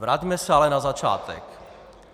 Vraťme se ale na začátek.